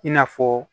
I n'a fɔ